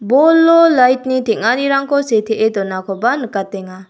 bolo lait ni teng·anirangko setee donakoba nikatenga.